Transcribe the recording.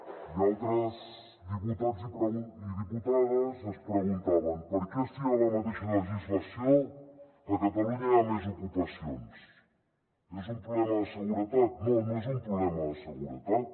i altres diputats i diputades es preguntaven per què si hi ha la mateixa legislació a catalunya hi ha més ocupacions és un problema de seguretat no no és un problema de seguretat